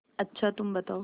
अच्छा तुम बताओ